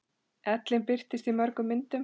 Ellin birtist í mörgum myndum.